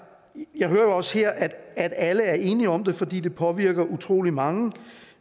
jeg hører jo også her at alle er enige om det fordi det påvirker utrolig mange